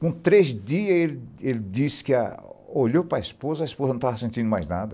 Com três dias, ele disse que olhou para a esposa e a esposa não estava sentindo mais nada.